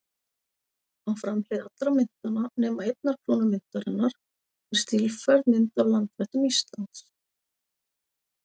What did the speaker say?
Á framhlið allra myntanna, nema einnar krónu myntarinnar, er stílfærð mynd af landvættum Íslands.